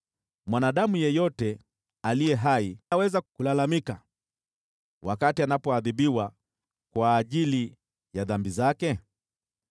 Mwanadamu yeyote aliye hai aweza kulalamika wakati anapoadhibiwa kwa ajili ya dhambi zake?